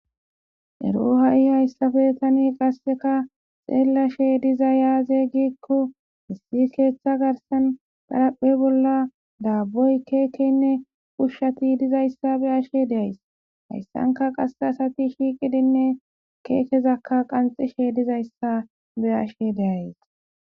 ero ha7i hayssafe tani qasseka xeellashe diza yaaze gikko issi keeththa garsan pharaphe bolla daabboy keekenne pushshati dizayssa be ashe deays hayssanka qasse asati shiiqidinne keekezakka qanxishe dizayssa be ashe deays